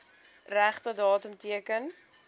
regte datum teken